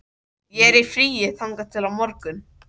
Ég er í fríi þangað til á morgun.